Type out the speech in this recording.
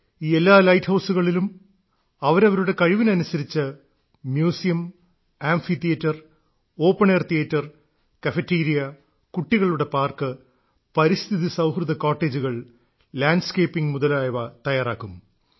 ഈ എല്ലാ ലൈറ്റ് ഹൌസുകളിലും അവരവരുടെ കഴിവിനനുസരിച്ച് museum amphitheatre open air theatre cafeteria കുട്ടികളുടെ പാർക്ക് പരിസ്ഥിതി സൌഹൃദ കോട്ടേജുകൾ ലാൻഡ്സ്കേപ്പിംഗ് മുതലായവ തയ്യാറാക്കും